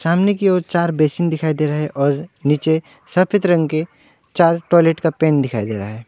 सामने की ओर चार बेसिन दिखाई दे रहे हैं और नीचे सफेद रंग के चार टॉयलेट का पेन दिखाई दे रहा है।